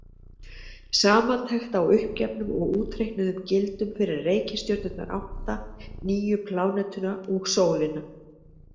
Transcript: Samantekt á uppgefnum og útreiknuðum gildum fyrir reikistjörnurnar átta, nýju plánetuna og sólina.